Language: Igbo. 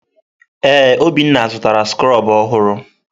Ee, Obinna zụtara skrobụ ọhụrụ.